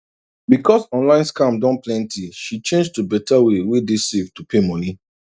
because online scam don plenty she change to better way wey dey safe to pay money